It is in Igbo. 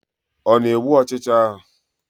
Ọ na-egbu ọchịcha ahụ?